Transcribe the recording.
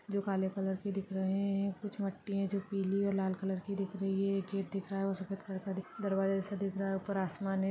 जो काले कलर की दिख रहे हैं कुछ मट्टी है जो पीली और लाल कलर की दिख रही है खेत दिख रहा है वो सफेद कलर का दिख दरवाजा सा देख रहा है ऊपर आसमान है।